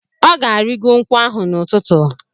Ọ ga-arịgo nkwụ ahụ n'ụtụtụ.